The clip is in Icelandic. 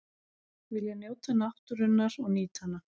Vilja njóta náttúrunnar og nýta hana